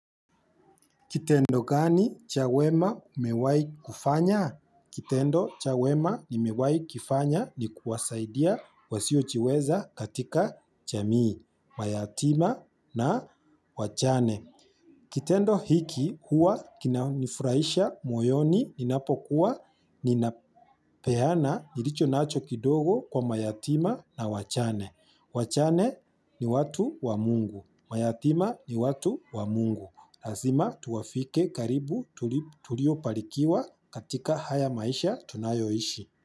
Kitendo gani cha wema umewai kufanya? Kitendo cha wema nimewai kifanya ni kuwasaidia wasiochiweza katika chamii, mayatima na wachane. Kitendo hiki huwa kina nifurahisha moyoni ninapokuwa ninapeyana nilicho nacho kidogo kwa mayatima na wachane. Wachane ni watu wa mungu. Mayatima ni watu wa mungu. Lazima tuwafike karibu tulio palikiwa katika haya maisha tunayoishi.